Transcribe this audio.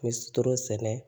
N bɛ toro sɛnɛ